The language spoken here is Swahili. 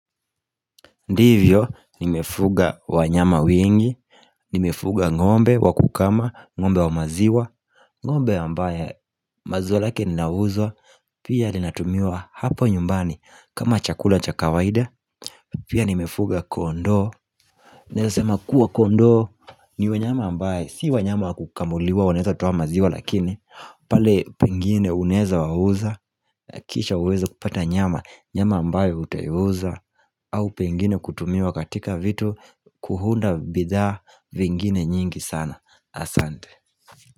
Ndivyo nimefuga wanyama wengi, nimefuga ngombe wa kukama, ngombe wa maziwa ngombe ambaye maziwa lake ninauzwa, pia linatumiwa hapo nyumbani kama chakula cha kawaida Pia nimefuga kondoo, naeza sema kuwa kondoo, ni wanyama ambaye Si wanyama kukamuliwa wanaeza toa maziwa lakini pale pengine unaeza wauza, kisha uweze kupata nyama, nyama ambaye utaiuza au pengine kutumiwa katika vitu Kuhunda bidhaa vingine nyingi sana Asante.